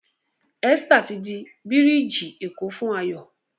Esther tí dì birigi eko fún Ayo